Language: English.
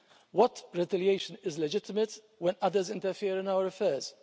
What retaliation is legitimate when others interfere in our affairs?